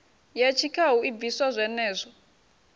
ya tshikhau i bviswa zwenezwo